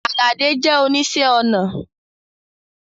Aládé jẹ̀ oníṣẹ̀ onà